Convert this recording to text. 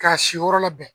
K'a si yɔrɔ labɛn